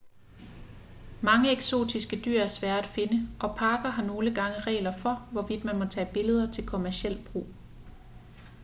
mange eksotiske dyr er svære at finde og parker har nogle gange regler for hvorvidt man må tage billeder til kommerciel brug